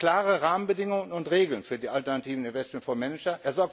Er schafft klare Rahmenbedingungen und Regeln für die alternativen Investmentfondsmanager.